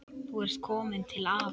Þú ert komin til afa.